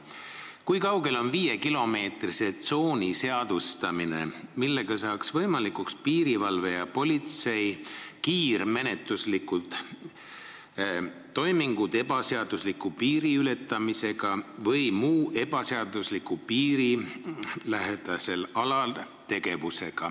Kui kaugel on viiekilomeetrise tsooni seadustamine, millega saaks võimalikuks piirivalve ja politsei kiirmenetluslikud toimingud ebaseadusliku piiriületamise või muu ebaseadusliku tegevuse tõkestamisel piirilähedasel alal?